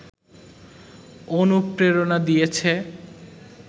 অনুপ্রেরণা দিয়েছে